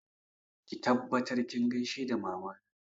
Ki tabbatar kin gaishe da Mamana!